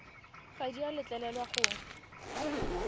ga di a letlelelwa go